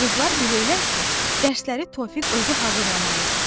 Qızlar bilirlər ki, dərsləri Tofiq özü hazırlamalıdır.